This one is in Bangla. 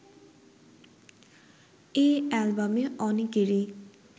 এ অ্যালবামে অনেকেরই